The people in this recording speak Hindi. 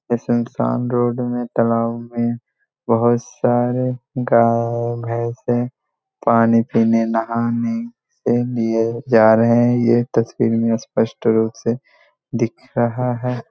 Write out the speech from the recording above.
सुनसान रोड में तालाब में बोहोत सारे गाय-भैंसें पानी पीने नहाने के लिए जा रहे है। यह तस्वीर में स्पष्ट रूप से दिख रहा है।